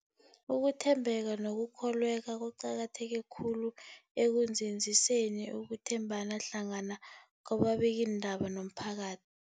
Ukuthembeka nokukholweka kuqakatheke khulu ekunzinziseni ukuthembana hlangana kwababikiindaba nomphakath